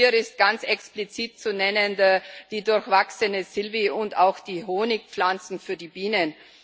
Hier sind ganz explizit zu nennen die Durchwachsene Silphie und auch die Honigpflanzen für die Bienen.